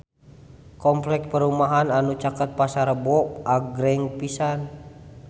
Kompleks perumahan anu caket Pasar Rebo agreng pisan